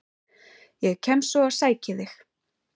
Ég kem svo og sæki þig.